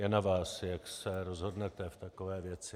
Je na vás, jak se rozhodnete v takové věci.